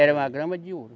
Era uma grama de ouro.